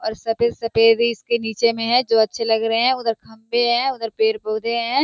और सफ़ेद सफ़ेद इसके नीचे मे हैं जो अच्छे लग रहे हैं उधर खम्बे हैं उधर पेड़ पौधे हैं।